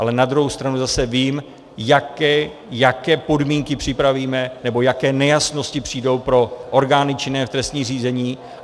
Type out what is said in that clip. Ale na druhou stranu zase vím, jaké podmínky připravíme nebo jaké nejasnosti přijdou pro orgány činné v trestním řízení.